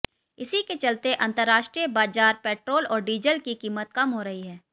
इसी के चलते अंतर्राष्ट्रीय बाजार पेट्रोल और डीजल की कीमत कम हो रही है